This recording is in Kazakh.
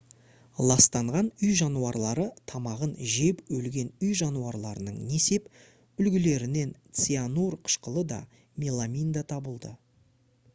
ластанған үй жануарлары тамағын жеп өлген үй жануарларының несеп үлгілерінен цианур қышқылы да меламин де табылды